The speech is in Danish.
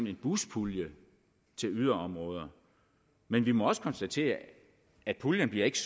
en buspulje til yderområder men vi må også konstatere at puljen ikke